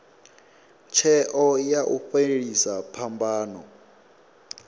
tsheo ya u fhelisa phambano